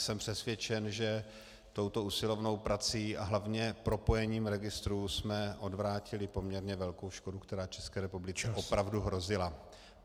Jsem přesvědčen, že touto usilovnou prací a hlavně propojením registrů jsme odvrátili poměrně velkou škodu, která České republice opravdu hrozila.